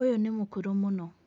Ũyũ nĩ mũkũrũ mũno.